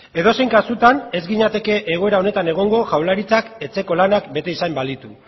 edozein kasutan ez ginateke egoera honetan egongo jaurlaritzak etxeko lanak bete izan balitu